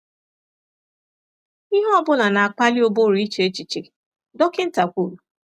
“Ihe ọ bụla na-akpali ụbụrụ iche echiche,” dọkịnta kwuru.